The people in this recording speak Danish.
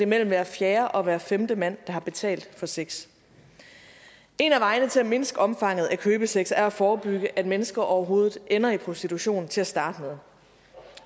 mellem hver fjerde og hver femte mand der har betalt for sex en af vejene til at mindske omfanget af købesex er at forebygge at mennesker overhovedet ender i prostitution til at starte med